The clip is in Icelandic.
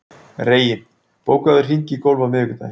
Reginn, bókaðu hring í golf á miðvikudaginn.